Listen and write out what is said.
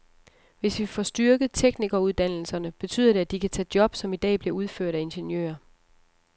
Hvis vi får styrket teknikeruddannelserne, betyder det, at de kan tage job, som i dag bliver udført af ingeniører.